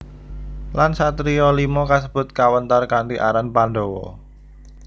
Lan satriya lima kasebut kawentar kanthi aran Pandhawa